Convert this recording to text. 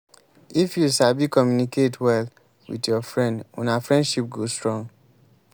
if you sabi communicate well with your friend una friendship go strong.